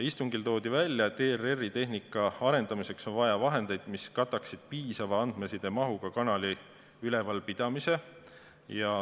Istungil toodi välja, et ERR-i tehnika arendamiseks on vaja vahendeid, mis kataksid piisava andmesidemahuga kanali ülalpidamise.